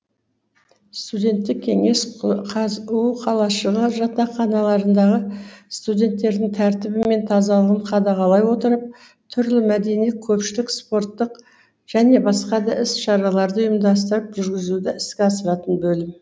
студенттік кеңес қазұу қалашығы жатақханаларындағы студенттердің тәртібі мен тазалығын қадағалай отырып түрлі мәдени көпшілік спорттық және басқа да іс шараларды ұйымдастырып жүргізуді іске асыратын бөлім